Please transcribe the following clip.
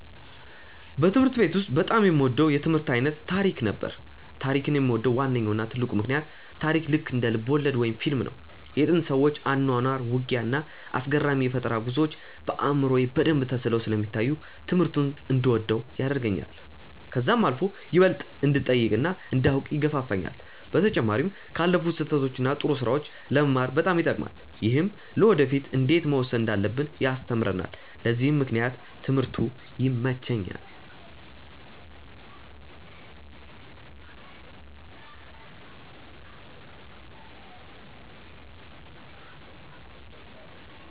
በትምህርት ቤት ውስጥ በጣም የምወደው የትምህርት አይነት ታሪክ ነበር። ታሪክን የምወድበት ዋነኛው እና ትልቁ ምክንያት ታሪክ ልክ እንደ ልብወለድ ወይም ፊልም ነው። የጥንት ሰዎች አኗኗር፣ ውጊያ፣ እና አስገራሚ የፈጠራ ጉዞዎች በአእምሮዬ በደንብ ተስለው ስለሚታዩኝ ትምህርቱን እንድወደው ያደርገኛል። ከዛም አልፎ ይበልጥ እንድጠይቅ እና እንዳውቅ ይገፋፋኛል። በተጨማሪም ካለፉት ስህተቶች እና ጥሩ ስራዎች ለመማር በጣም ይጠቅማል። ይህም ለወደፊ እንዴት መወሰን እንዳለብን ያስተምረናል በዚህም ምክንያት ትምህርቱ ይመቸኛል።